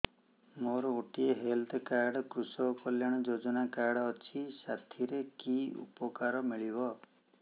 ମୋର ଗୋଟିଏ health card କୃଷକ କଲ୍ୟାଣ ଯୋଜନା କାର୍ଡ ଅଛି ସାଥିରେ କି ଉପକାର ମିଳିବ